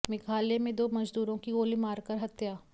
मेघालय में दो मजदूरों की गोली मार कर हत्या